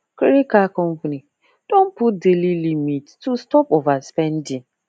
credit card company don put daily limit to stop overspending